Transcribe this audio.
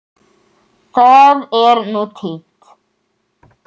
Það er nú týnt.